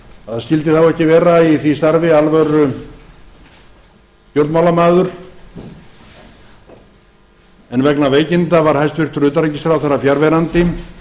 að það skyldi þá ekki vera í því starfi alvörustjórnmálamaður en vegna veikinda var hæstvirtur utanríkisráðherra fjarverandi